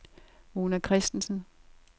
Mona Kristensen